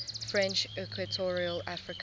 french equatorial africa